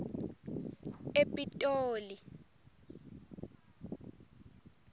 epitoli